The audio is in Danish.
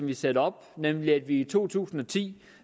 vi satte op nemlig at i to tusind og ti